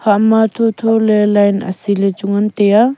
hah ma thotho ley line achi ley chu ngan tai aa.